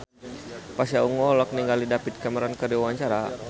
Pasha Ungu olohok ningali David Cameron keur diwawancara